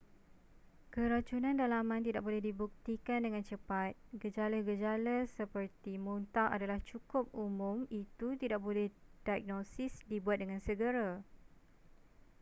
keracunan dalaman tidak boleh dibuktikan dengan cepat gejala-gejala seperti muntah adalah cukup umum itu tidak boleh diagnosis dibuat dengan segera